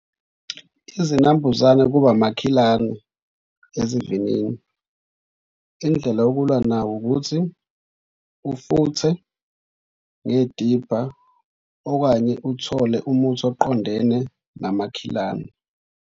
Izinambuzane kuba amakhilane ezivinini. Indlela yokulwa nawe ukuthi ufuthe ngedibha okanye uthole umuthi oqondene namakhilane.